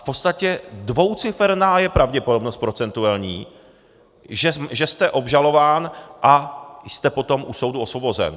V podstatě dvouciferná je pravděpodobnost procentuální, že jste obžalován a jste potom u soudu osvobozen.